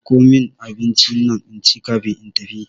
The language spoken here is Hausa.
Miko min abincinnan inci kafin in tafi.